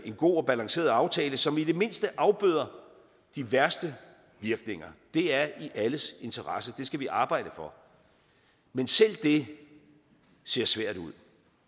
god og balanceret aftale som i det mindste afbøder de værste virkninger det er i alles interesse det skal vi arbejde for men selv dét ser svært ud